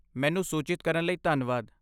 ਮੈਨੂੰ ਸੂਚਿਤ ਕਰਨ ਲਈ ਧੰਨਵਾਦ।